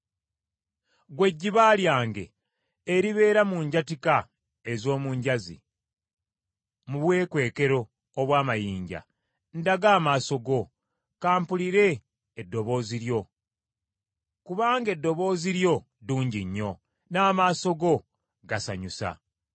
Ggwe ejjiba lyange, eribeera mu njatika ez’omu njazi, mu bwekwekero obw’amayinja, ndaga amaaso go, ka mpulire eddoboozi lyo, kubanga eddoboozi lyo ddungi nnyo, n’amaaso go gasanyusa.